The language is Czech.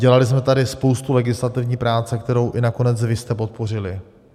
Dělali jsme tady spoustu legislativní práce, kterou i nakonec vy jste podpořili.